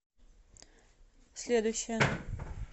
следующая